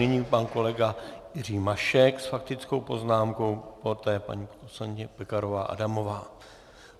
Nyní pan kolega Jiří Mašek s faktickou poznámkou, poté paní poslankyně Pekarová Adamová.